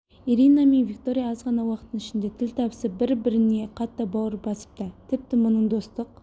ирина мен виктория аз ғана уақыттың ішінде тіл табысып бір-біріне қатты бауыр басыпты тіпті мұның достық